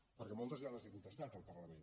perquè moltes ja les he contestat al parlament